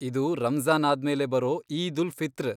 ಇದು ರಂಜ಼ಾನ್ ಆದ್ಮೇಲೆ ಬರೋ ಈದ್ ಉಲ್ ಫಿತ್ರ್.